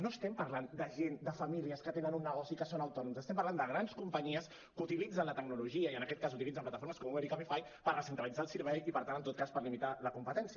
no estem parlant de gent de famílies que tenen un negoci i que són autònoms estem parlant de grans companyies que utilitzen la tecnologia i en aquest cas utilitzen plataformes com uber i cabify per recentralitzar el servei i per tant en tot cas per limitar la competència